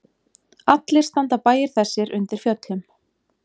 Allir standa bæir þessir undir fjöllum.